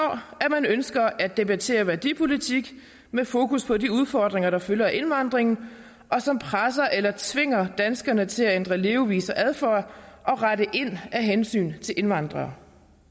at man ønsker at debattere værdipolitik med fokus på de udfordringer der følger af indvandringen og som presser eller tvinger danskerne til at ændre levevis og adfærd og rette ind af hensyn til indvandrere